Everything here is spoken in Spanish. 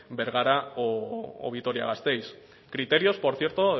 bergara o vitoria gasteiz criterios por cierto